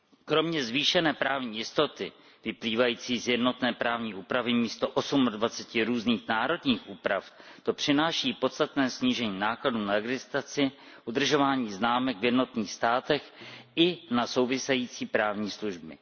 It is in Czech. Kromě zvýšené právní jistoty vyplývající z jednotné právní úpravy místo osmadvaceti různých národních úprav to přináší podstatné snížení nákladů na registraci, udržování známek v jednotlivých státech i na související právní služby.